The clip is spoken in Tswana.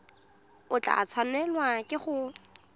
o tla tshwanelwa ke go